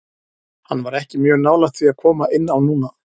Hann var ekki mjög nálægt því að koma inn á núna.